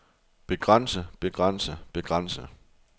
begrænse begrænse begrænse